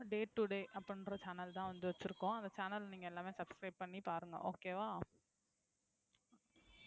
Day today அப்டின்குற channel தான் வச்சுருகோம் அந்த channel நீங்க எல்லாமே subscribe பண்ணி பாருங்க okay வா,